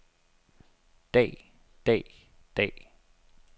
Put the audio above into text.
dag dag dag